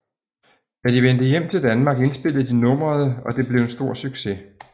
Da de vendte hjem til Danmark indspillede de nummeret og det blev en stor succes